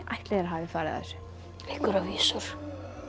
ætli þeir hafi farið að þessu einhverjar vísur